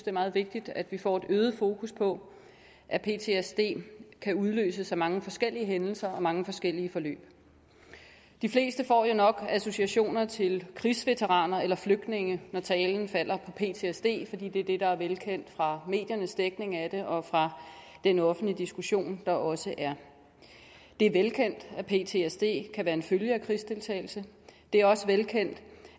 er meget vigtigt at vi får et øget fokus på at ptsd kan udløses af mange forskellige hændelser og mange forskellige forløb de fleste får jo nok associationer til krigsveteraner eller flygtninge når talen falder på ptsd fordi det er det der er velkendt fra mediernes dækning af det og fra den offentlige diskussion der også er det er velkendt at ptsd kan være en følge af krigsdeltagelse det er også velkendt